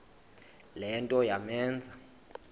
le nto yamenza